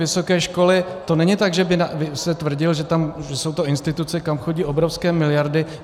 Vysoké školy, to není tak, že by se tvrdilo, že to jsou instituce, kam chodí obrovské miliardy.